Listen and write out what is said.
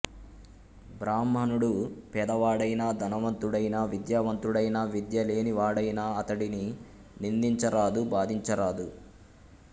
బ్రాహ్మణుడు పేదవాడైనా ధనవంతుడైనా విద్యావంతుడైనా విద్యలేని వాడైనా అతడిని నిందించ రాదు బాధించరాదు